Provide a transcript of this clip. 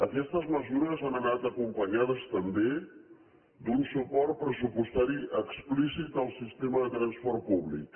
aquestes mesures han anat acompanyades també d’un suport pressupostari explícit al sistema de transport públic